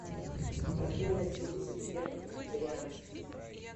открой на телевизоре первый вегетарианский